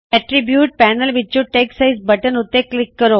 attributes panel ਵਿੱਚੋ text size button ਉੱਤੇ click ਕਰੋ